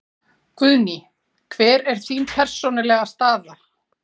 Guðný: Hver er þín persónulega staða?